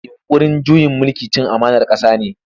Yinƙurin juyin mulki cin amanar ƙasa ne.